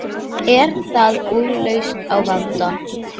Er það úrlausn á vanda?